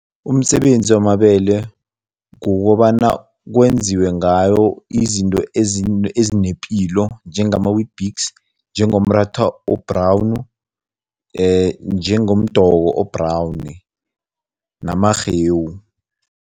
Umsebenzi wamabele kukobana kwenziwe ngawo izinto ezinepilo njengama-Weetbix, njengomratha o-brown, njengomdoko o-brown namarhewu.